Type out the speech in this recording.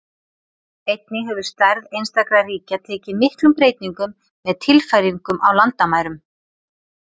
Einnig hefur stærð einstakra ríkja tekið miklum breytingum með tilfæringum á landamærum.